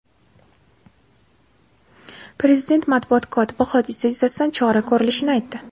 Prezident matbuot kotibi hodisa yuzasidan chora ko‘rilishini aytdi.